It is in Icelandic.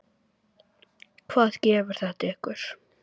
Hvað gefur þetta ykkur?